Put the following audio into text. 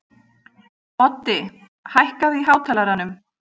Oddi, hækkaðu í hátalaranum.